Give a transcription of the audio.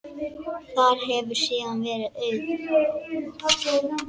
Þar hefur síðan verið auðn.